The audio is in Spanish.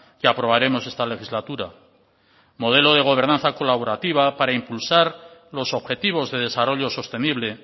que aprobaremos esta legislatura modelo de gobernanza colaborativa para impulsar los objetivos de desarrollo sostenible